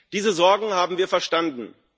Diese Sorgen haben wir verstanden.